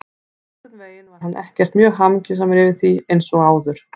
En einhvern veginn var hann ekkert mjög hamingjusamur yfir því, ekki eins og áður.